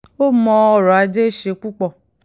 ó mọ ọrọ̀ ajé í ṣe púpọ̀